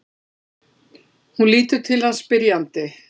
Hún lítur til hans spyrjandi.